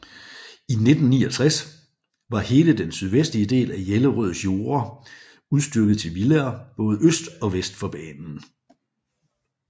I 1969 var hele den sydvestlige del af Jellerøds jorder udstykket til villaer både øst og vest for banen